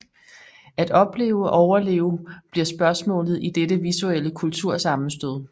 At opleve og overleve bliver spørgsmålet i dette visuelle kultursammenstød